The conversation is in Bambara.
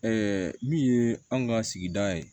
min ye an ka sigida ye